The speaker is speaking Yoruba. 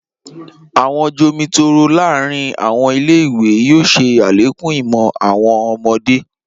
Awọn jomitoro laarin awọn ile-iwe yoo ṣe alekun imọ awọn ọmọde.